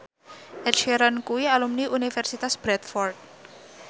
Ed Sheeran kuwi alumni Universitas Bradford